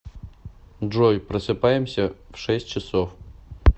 джой просыпаемся в шесть часов